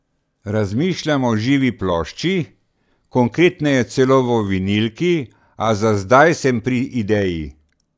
Razmišljam o živi plošči, konkretneje celo o vinilki, a za zdaj sem pri ideji.